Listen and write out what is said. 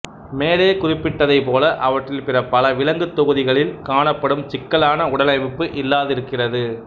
மேலே குறிப்பிட்டதைப் போல அவற்றில் பிற பல விலங்கு தொகுதிகளில் காணப்படும் சிக்கலான உடலமைப்பு இல்லாதிருக்கிறது